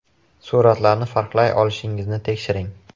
Suratlarni farqlay olishingizni tekshiring.